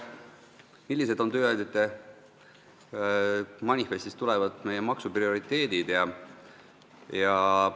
Millised on tööandjate manifestist tulenevalt meie maksuprioriteedid?